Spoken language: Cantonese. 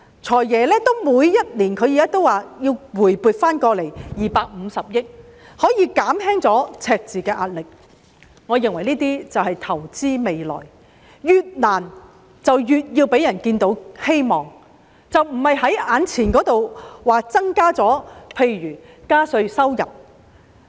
"財爺"每年也說要回撥250億元以減輕赤字的壓力，我認為這便是投資未來，越困難便越要讓人看到希望，而並非只着重於眼前增加收入，例如增加稅務收入。